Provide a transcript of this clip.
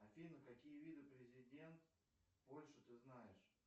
афина какие виды президент польши ты знаешь